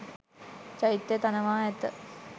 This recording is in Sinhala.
චෛත්‍යය තනවා ඇත.